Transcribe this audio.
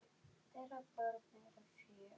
Þeirra börn eru fjögur.